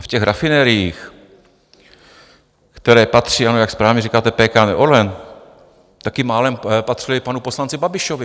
A v těch rafinériích, které patří, ano, jak správně říkáte, PKN Orlen - taky málem patřily panu poslanci Babišovi.